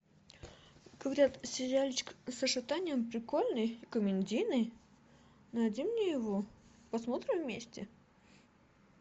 говорят сериальчик саша таня прикольный комедийный найди мне его посмотрим вместе